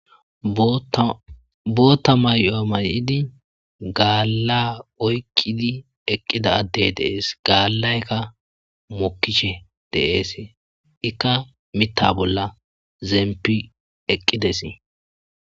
Bootta may,oa may,idi gaala oykkidi eqqida addey deees gaallaykka mokkishe deees ikka mitta bolla zeempi eqqides.